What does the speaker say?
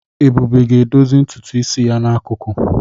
Ebube ga-edozi ntutu ya n'akụkụ.